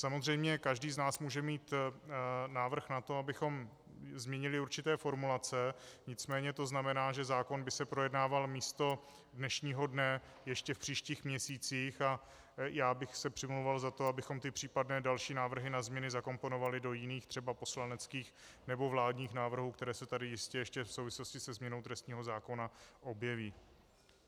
Samozřejmě každý z nás může mít návrh na to, abychom zmínili určité formulace, nicméně to znamená, že zákon by se projednával místo dnešního dne ještě v příštích měsících, a já bych se přimlouval za to, abychom ty případné další návrhy na změny zakomponovali do jiných, třeba poslaneckých nebo vládních návrhů, které se tady jistě ještě v souvislosti se změnou trestního zákona objeví.